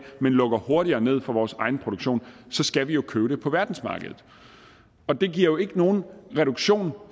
men lukker hurtigere ned for vores egenproduktion så skal vi købe det på verdensmarkedet og det giver jo ikke nogen reduktion